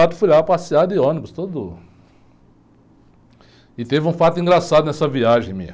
Quatro, fui lá passear de ônibus, todo... E teve um fato engraçado nessa viagem minha.